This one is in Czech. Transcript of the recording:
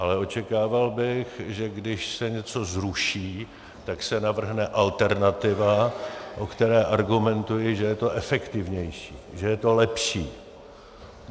Ale očekával bych, že když se něco zruší, tak se navrhne alternativa, o které argumentuji, že je to efektivnější, že je to lepší.